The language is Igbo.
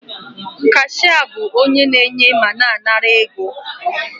Kashịa bụ onye na-enye ma na-anara ego